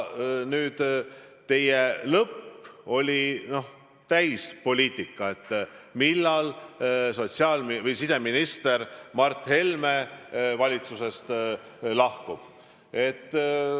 Teie repliigi lõpp oli täielik poliitika: millal siseminister Mart Helme valitsusest lahkub.